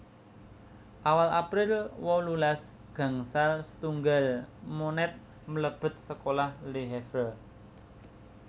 Awal April wolulas gangsal setunggal Monet mlebet sekolah Le Havre